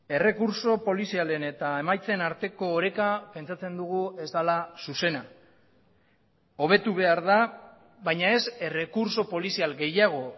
errekurtso polizialen eta emaitzen arteko oreka pentsatzen dugu ez dela zuzena hobetu behar da baina ez errekurtso polizial gehiago